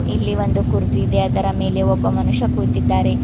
ಇಲ್ಲಿ ಒಂದು ಕುರ್ಜಿ ಇದೆ ಅದರ ಮೇಲೆ ಒಬ್ಬ ಮನುಷ್ಯ ಕುಂತಿದ್ದಾರೆ.